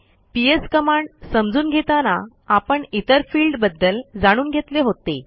PS command समजून घेताना आपण इतर फिल्डबद्दल जाणून घेतले होते